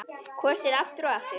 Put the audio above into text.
Kosið aftur og aftur?